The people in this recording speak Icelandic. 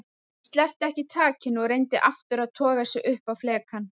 Hann sleppti ekki takinu og reyndi aftur að toga sig upp á flekann.